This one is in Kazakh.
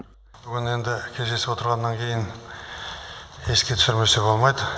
бүгін енді кездесіп отырғаннан кейін еске түсірмесе болмайды